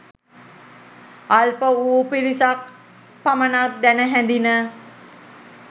අල්ප වූ පිරිසක් පමණක් දැන හැඳින